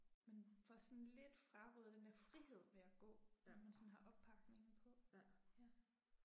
Man får sådan lidt frarøvet den der frihed ved at gå, når man sådan har oppakningen på. Ja